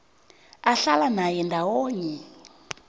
ahlala naye ndawonye